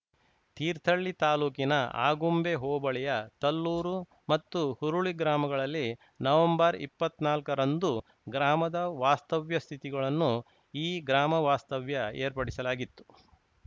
ತೀರ್ಥಹಳ್ಳಿ ತಾಲೂಕಿನ ಆಗುಂಬೆ ಹೋಬಳಿಯ ತಲ್ಲೂರು ಮತ್ತು ಹುರುಳಿ ಗ್ರಾಮಗಳಲ್ಲಿ ನವೆಂಬರ್ಇಪ್ಪತ್ನಾಲ್ಕರಂದು ಗ್ರಾಮದ ವಾಸ್ತವ್ಯ ಸ್ಥಿತಿಗಳನ್ನು ಈ ಗ್ರಾಮ ವಾಸ್ತವ್ಯ ಏರ್ಪಡಿಸಲಾಗಿತ್ತು